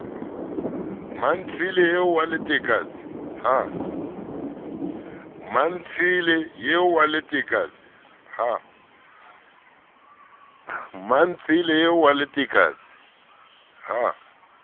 mmantshele eo wa letekatse ha